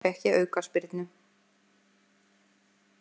Þarna fékk ég aukaspyrnu.